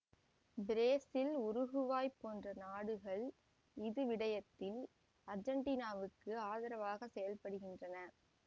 Brazil Uruguay போன்ற நாடுகள் இது விடயத்தில் ஆர்ஜெண்டீனாவுக்கு ஆதரவாகச் செயல்படுகின்றன